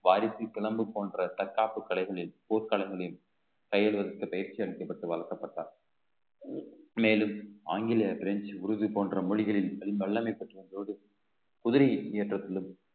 வாரிசு பிளம்பு போன்ற தற்காப்பு கலைகளில் போர்க்களங்களில் கைவிடுவதற்கு பயிற்சி அளிக்கப்பட்டு வளர்க்கப்பட்டார் மேலும் ஆங்கிலேய பிரெஞ்சு உருது போன்ற மொழிகளில் பெரும் வல்லமை பெற்றிருந்ததோடு குதிரை ஏற்றத்திலும்